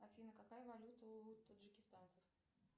афина какая валюта у таджикистанцев